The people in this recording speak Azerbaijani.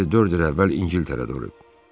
Əri dörd il əvvəl İngiltərədə ölüb.